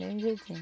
Mesmo jeitinho.